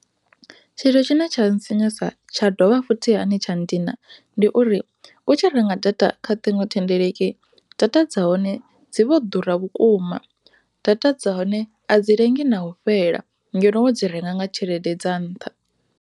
Tshithu tshine tsha ntsinyusa tsha dovha futhi hani tsha nndina ndi uri u tshi renga data kha ṱhingo thendeleki data dza hone dzi vho ḓura vhukuma data dza hone a dzi lengi na u fhela ngeno data dza hone wo dzi renga ngatshelede ya nṱha.